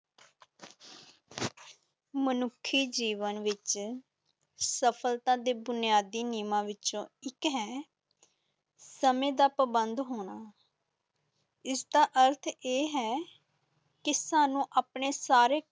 ਮਨੁੱਖੀ ਜੀਵਨ ਵਿੱਚ ਸਫ਼ਲਤਾ ਦੇ ਬੁਨਿਆਦੀ ਨਿਯਮਾਂ ਵਿੱਚੋਂ ਇੱਕ ਹੈੈ ਸਮੇਂ ਦਾ ਪਾਬੰਦ ਹੋਣਾ ਇਸ ਦਾ ਅਰਥ ਇਹ ਹੈ ਕਿ ਸਾਨੂੰ ਆਪਣੇ ਸਾਰੇ